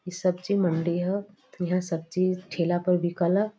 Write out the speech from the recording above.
ई सब्जी मंडी ह। इहां सब्जी ठेला पर बिकल ह।